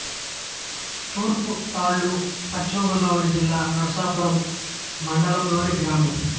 తూర్పుతాళ్ళు పశ్చిమ గోదావరి జిల్లా నరసాపురం మండలం లోని గ్రామం